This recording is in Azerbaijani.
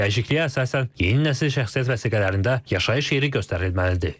Dəyişikliyə əsasən yeni nəsil şəxsiyyət vəsiqələrində yaşayış yeri göstərilməlidir.